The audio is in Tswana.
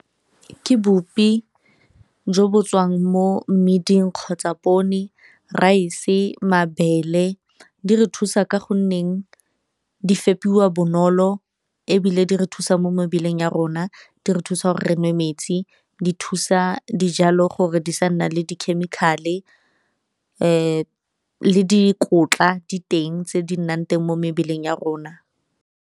Ke bupi jo bo tswang mo mmiding kgotsa raese, mabele. Di re thusa ka goneng di fepiwa bonolo ebile di re thusa mo mo mebileng ya rona, di re thusa gore re nwe metsi di thusa dijalo gore di sa nna le di-chemical-e le dikotla di teng tse di nnang teng mo mebeleng ya rona.